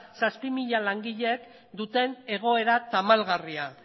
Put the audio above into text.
zazpi mila langileek duten egoera tamalgarria